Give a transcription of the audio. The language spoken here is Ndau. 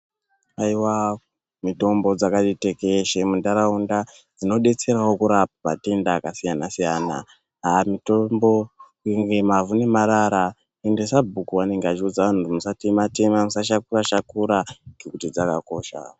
Aiwa mitombo dzakati tekeshe mundaraunda dzinobetserawo kurapa matenda akasiyana siyana. Ah mutombo mavhu nemarara ende sabhuku vanenge vachi udza vantu kuti mutsatema tema musa shakura shakura ngekuti dzakakosha.